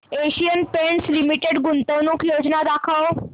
Asian Paints Limited गुंतवणूक योजना दाखव